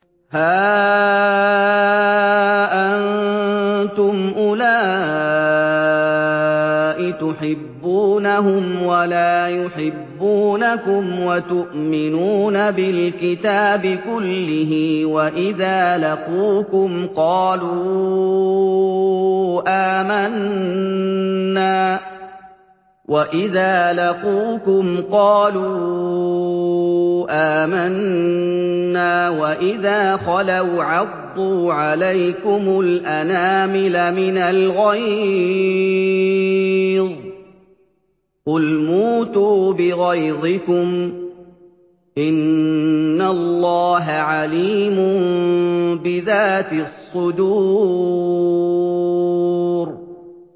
هَا أَنتُمْ أُولَاءِ تُحِبُّونَهُمْ وَلَا يُحِبُّونَكُمْ وَتُؤْمِنُونَ بِالْكِتَابِ كُلِّهِ وَإِذَا لَقُوكُمْ قَالُوا آمَنَّا وَإِذَا خَلَوْا عَضُّوا عَلَيْكُمُ الْأَنَامِلَ مِنَ الْغَيْظِ ۚ قُلْ مُوتُوا بِغَيْظِكُمْ ۗ إِنَّ اللَّهَ عَلِيمٌ بِذَاتِ الصُّدُورِ